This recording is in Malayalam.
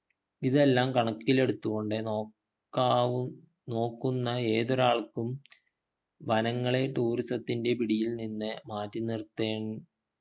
ഇതെല്ലം കണക്കിലെടുത്തു കൊണ്ട് നോക്കാവു നോക്കുന്ന ഏതൊരാൾക്കും വനങ്ങളെ tourism ത്തിൻ്റെ പിടിയിൽ നിന്ന് മാറ്റി നിർത്തേ